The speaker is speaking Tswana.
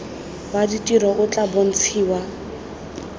wa ditiro o tla bontshiwa